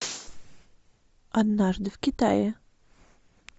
однажды в китае